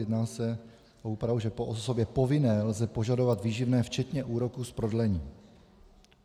Jedná se o úpravu, že po osobě povinné lze požadovat výživné včetně úroku z prodlení.